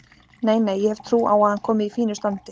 Nei, nei, ég hef trú á að hann komi í fínu standi.